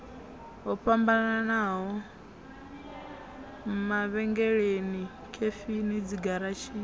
ho fhambanaho mavhengeleni khefini dzigaratshini